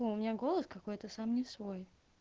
о у меня голос какой-то сам не свой